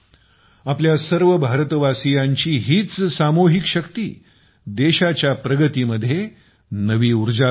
आपल्या सर्व भारतवासीयांची हीच सामुहिक शक्तीदेशाच्या प्रगतीमध्ये नवी उर्जा भरत आहे